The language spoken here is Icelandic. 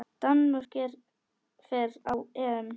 Danmörk fer á EM.